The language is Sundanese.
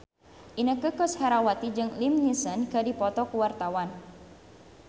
Inneke Koesherawati jeung Liam Neeson keur dipoto ku wartawan